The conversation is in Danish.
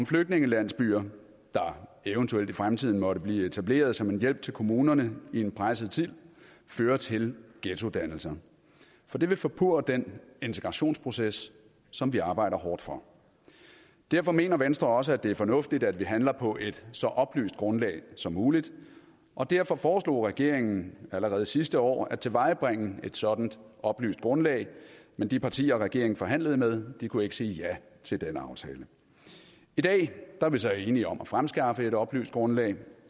flygtningelandsbyer der eventuelt i fremtiden måtte blive etableret som en hjælp til kommunerne i en presset tid fører til ghettodannelser for det vil forpurre den integrationsproces som vi arbejder hårdt for derfor mener venstre også at det er fornuftigt at vi handler på et så oplyst grundlag som muligt og derfor foreslog regeringen allerede sidste år at tilvejebringe et sådan oplyst grundlag men de partier regeringen forhandlede med kunne ikke sige ja til denne aftale i dag er vi så enige om at fremskaffe et oplyst grundlag